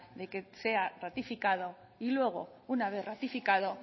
de que sea ratificado y luego una vez ratificado